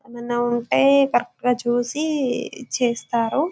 ఎం అన్న ఉంటె కరెక్ట్ గా చూసి చేస్తారు .